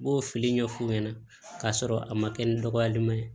N b'o fili ɲɛf'u ɲɛna k'a sɔrɔ a ma kɛ ni dɔgɔyali ma ye